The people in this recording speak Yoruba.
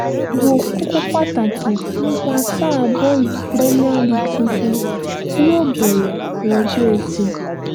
wo kókó pàtàkì nípa sáà bọ́ọ̀lù premier league tuntun tí yóò bẹ̀rẹ̀ lọ́jọ́ etí